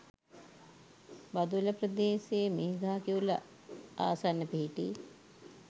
බදුල්ල ප්‍රදේශයේ මීගහකිවුල ආසන්න පිහිටි